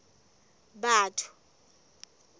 batho